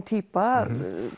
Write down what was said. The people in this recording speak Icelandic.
týpa